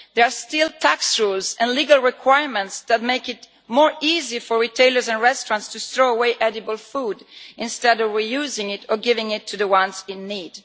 There are still tax rules and legal requirements that make it easier for retailers and restaurants to throw away edible food rather than reusing it or giving it to those in need.